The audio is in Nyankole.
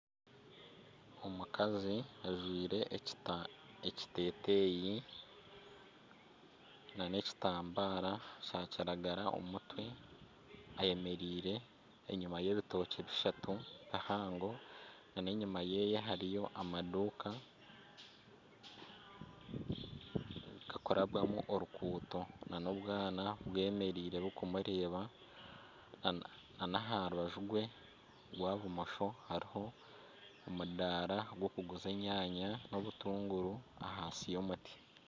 Omukazi ajwaire ekiteteyi na n'ekitambara kya kinyaatsi omu mutwe ayemereire enyima y'ebitookye bishatu bihango n'enyima yeeye hariyo amaduuka gakurabwamu oruguuto na n'obwaana bwemereire burikumureeba n'aha rubaju rwe rwa bumosho hariho omudaara gw'okuguza enyanya n'obutunguru ahansi y'omuti.